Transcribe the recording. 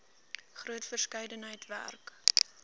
groot verskeidenheid werk